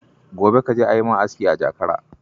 Gobe ka je a yi ma aski a Jakara.